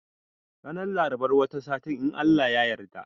Ranar Larabar wata sati in Allah ya yarda